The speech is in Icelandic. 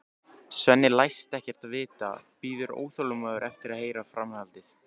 Svenni læst ekkert vita, bíður óþolinmóður eftir að heyra framhaldið.